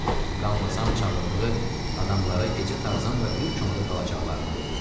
Mqanvasam çağırdığı adamlara gecə Tarzanla bir çomada qalacaqlarını dedi.